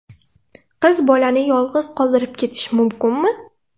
Qiz bolani yolg‘iz qoldirib ketish mumkinmi?